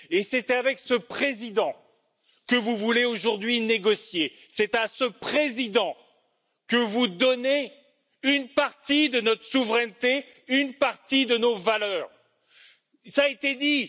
Et c'est avec ce président que vous voulez aujourd'hui négocier, c'est à ce président que vous donnez une partie de notre souveraineté, une partie de nos valeurs, cela a été dit.